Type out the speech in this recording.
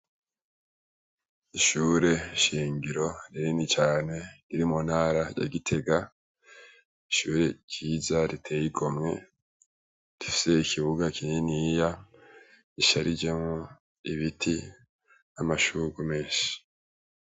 Ishure shingiro rinini cane iri mu ntara ya Gitega. Ishure ryiza riteye igomwe rifise ikibuga kininiya gisharijemwo ibiti, amashugwe menshi.